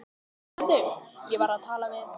Heyrðu, ég var að tala við